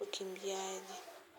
ukimbiaji.